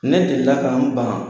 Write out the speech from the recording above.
Ne deli la ka n ban.